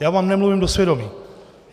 Já vám nemluvím do svědomí.